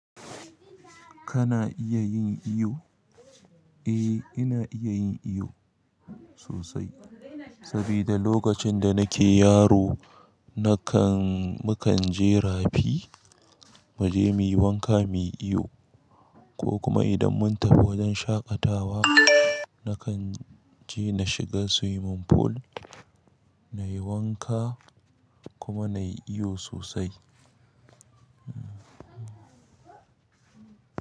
Kana iya yin iyo? Eh ina iya yin ihu sosai sabida lokacin da nake yaro nakan mukan je rafi mu je muyi wanka muyi iyo ko kuma idan mun tafi wajen shaƙatawa nakan je na shiga swimming pool nayi wanka kuma nayi iyo sosai.